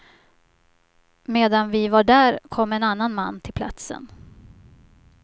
Medan vi var där kom en annan man till platsen.